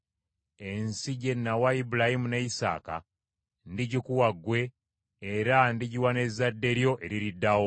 Ensi gye nawa Ibulayimu ne Isaaka, ndigikuwa ggwe, era ndigiwa n’ezzadde lyo eririddawo.”